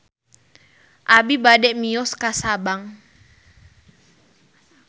Abi bade mios ka Sabang